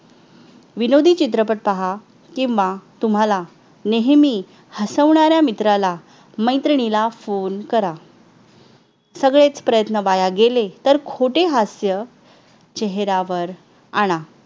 विनोदी चित्रपट पहा किंवा तुम्हाला नेहमी हसवणाऱ्या मित्राला मैत्रिणीला फोन करा सगळेच प्रयत्न वाया गेले तर खोटे हास्य चेहरावर आणा